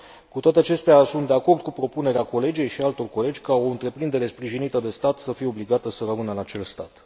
Cu toate acestea, sunt de acord cu propunerea colegei și a altor colegi ca o întreprindere sprijinită de stat să fie obligată să rămână în acel stat.